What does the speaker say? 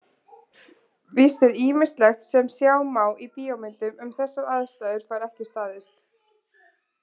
Víst er að ýmislegt sem sjá má í bíómyndum um þessar aðstæður fær ekki staðist.